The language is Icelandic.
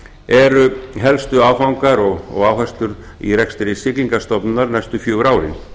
eru helstu áfangar og áherslur í rekstri siglingastofnunar næstu fjögur árin